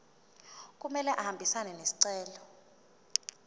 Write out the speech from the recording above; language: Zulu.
kumele ahambisane nesicelo